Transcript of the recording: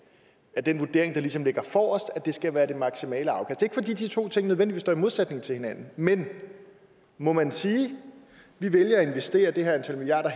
er den vurdering der ligesom ligger forrest at det skal være det maksimale afkast ikke fordi de to ting nødvendigvis står i modsætning til hinanden men må man sige vi vælger at investere det her antal milliarder